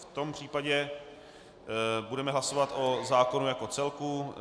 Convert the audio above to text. V tom případě budeme hlasovat o zákonu jako celku.